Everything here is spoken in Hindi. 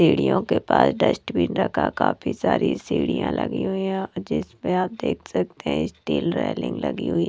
सीढ़ियों के पास डस्टबिन रखा काफी सारी सीढ़िया लगी हुईं हैं जिसपे आप देख सकते हैं स्टील रेलिंग लगी हुई--